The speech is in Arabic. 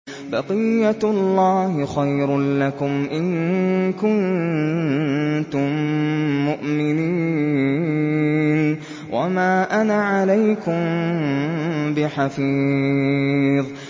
بَقِيَّتُ اللَّهِ خَيْرٌ لَّكُمْ إِن كُنتُم مُّؤْمِنِينَ ۚ وَمَا أَنَا عَلَيْكُم بِحَفِيظٍ